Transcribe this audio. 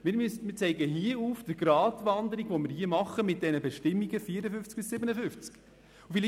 Wir zeigen hier die Gratwanderung auf, auf der wir uns mit den Bestimmungen in den Artikeln 54 bis 57 befinden.